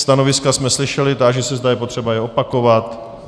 Stanoviska jsme slyšeli, táži, se zda je třeba je opakovat.